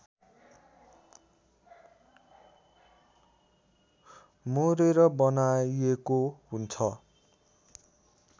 मोरेर बनाइएको हुन्छ